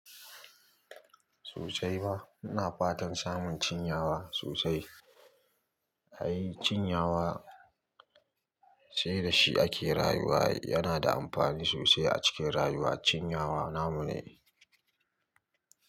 Socai ma, ina fatan samun cinyawa sosai. Ai cinyawa sai da shi ake rayuwa. Yana da amfani sosai a cikin rayuwa. Cinyawa namu ne.